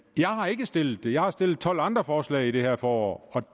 jeg har ikke stillet det jeg har stillet tolv andre forslag i det her forår